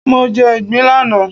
Mo jẹ ìgbín lánàá